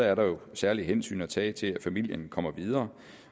er der jo særlige hensyn at tage til at familien kommer videre